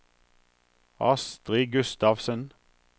Astri Gustavsen